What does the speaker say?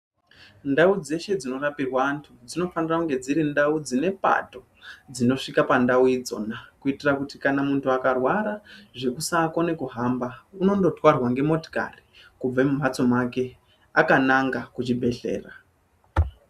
Ndau dzeshe dzino rapirwa antu dzinofanira kunge dziri ndau dzine bato dzinosvika pa ndau idzona kuitira kuti munhu akarwara zvekusa kona kuhamba unondo tarwa nge motikari kubve me mhatso make akananga ku bhedhlera.